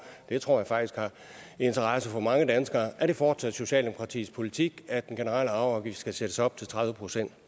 det tror jeg faktisk har interesse for mange danskere er det fortsat socialdemokratiets politik at den generelle arveafgift skal sættes op til tredive